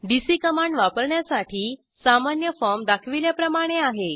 DC command वापरण्यासाठी सामान्य form दाखविल्याप्रमाणे आहे